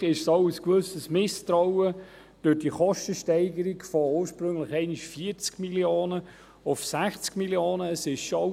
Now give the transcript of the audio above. Letztendlich ist es ein gewisses Misstrauen wegen der Kostensteigerung von ursprünglich 40 Mio. auf 60 Mio. Franken vorhanden;